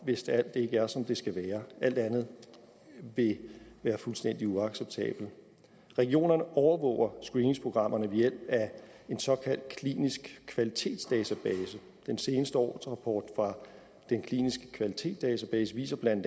hvis alt ikke er som det skal være alt andet vil være fuldstændig uacceptabelt regionerne overvåger screeningsprogrammerne ved hjælp af en såkaldt klinisk kvalitetsdatabase den seneste årsrapport fra den kliniske kvalitetsdatabase viser bla